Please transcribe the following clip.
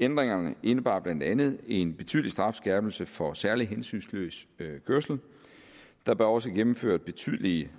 ændringerne indebar blandt andet en betydelig strafskærpelse for særlig hensynsløs kørsel der blev også gennemført betydelige